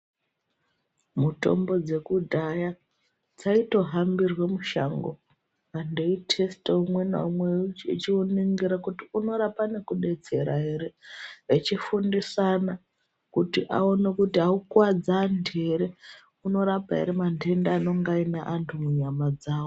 Mutombo dzekudhaya dzaitohambirwe mushango vantu veitesta umwe ngaumwe kuti inorapa nekudetsera ere , echifundisana kuti aukuwadzi antu ere inorapa ere mandenda anonga aine antu munyama dzawo.